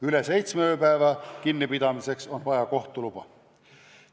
Üle seitsme ööpäeva kinnipidamiseks on vaja kohtu luba.